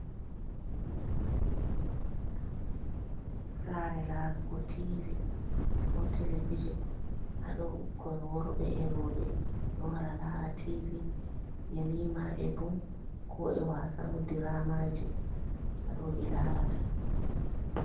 Sare larugo tivi ko televijin ha ɗo ɓukkoi worbe e roɓɓe ɗo wara lara tivi yelima e bol ko e wasan diramaje ha ɗo ɓe larata.